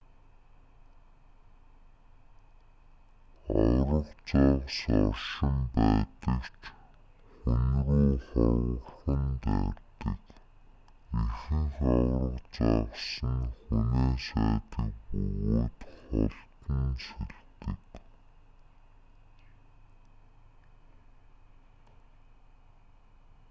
аварга загас оршин байдаг ч хүн рүү ховорхон дайрдаг ихэнх аварга загас нь хүнээс айдаг бөгөөд холдон сэлдэг